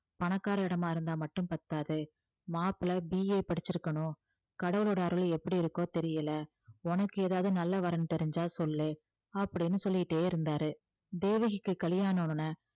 பணக்கார இடமா இருந்தா மட்டும் பத்தாது மாப்பிளை BA படிச்சிருக்கணும் கடவுளோட அருள் எப்படி இருக்கோ தெரியலே உனக்கு ஏதாவது நல்ல வரன் தெரிஞ்சா சொல்லு அப்படின்னு சொல்லிட்டே இருந்தாரு தேவகிக்கு கல்யாணம்ன உடனே